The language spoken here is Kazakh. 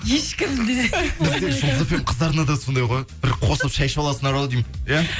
ешкімде бізде жұлдыз фм қыздарына да сондай ғой бір қосылып шәй ішіп аласыңдар ау деймін иә